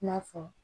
I n'a fɔ